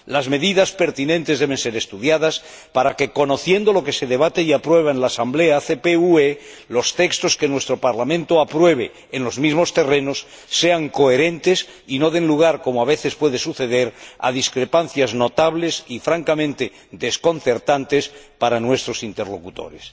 Las medidas pertinentes deben ser estudiadas para que, conociendo lo que se debate y aprueba en la Asamblea ACP UE, los textos que nuestro Parlamento apruebe en los mismos terrenos sean coherentes y no den lugar, como a veces puede suceder, a discrepancias notables y, francamente, desconcertantes para nuestros interlocutores.